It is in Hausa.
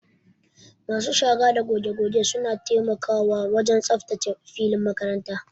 Masu shara da goge goge suna taimakawa wajen tsaftace filin makaranta.